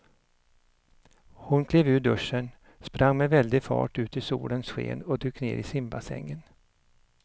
Hon klev ur duschen, sprang med väldig fart ut i solens sken och dök ner i simbassängen.